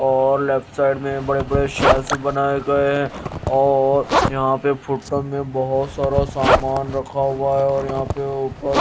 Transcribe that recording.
और left side में बड़े-बड़े शेल्फ बनाए गए हैं और यहां पे फुरसत में बहुत सारा सामान रखा हुआ है और यहां पे ऊपर --